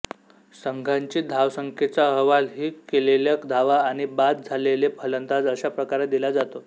संघाची धावसंख्येचा अहवाल ही केलेल्या धावा आणि बाद झालेले फलंदाज अशा प्रकारे दिला जातो